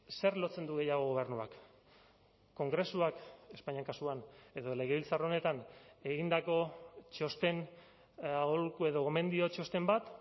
zer lotzen du gehiago gobernuak kongresuak espainia kasuan edo legebiltzar honetan egindako txosten aholku edo gomendio txosten bat